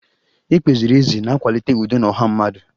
Ikpe ziri ezi na-akwalite udo na ọha mmadụ